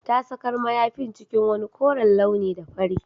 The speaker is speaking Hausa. Ta sakar mayafin cikin wani koren launi da fari